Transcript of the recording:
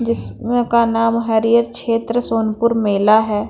जिस में का नाम हरियर क्षेत्र सोनपुर मेला हैं।